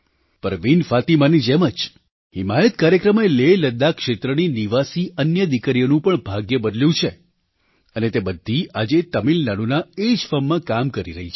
પરવીન ફાતિમાની જેમ જ હિમાયત કાર્યક્રમે લેહલદ્દાખ ક્ષેત્રની નિવાસી અન્ય દીકરીઓનું પણ ભાગ્ય બદલ્યું છે અને તે બધી આજે તમિલનાડુના એ જ ફર્મમાં કામ કરી રહી છે